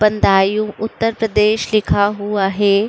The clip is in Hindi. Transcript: बदायूं उत्तर प्रदेश लिखा हुआ है।